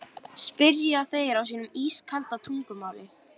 spyrja þeir á sínu ískalda tungumáli.